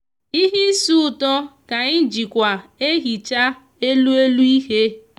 ihe isi uto ka anyi jikwa ehicha elu elu ihe.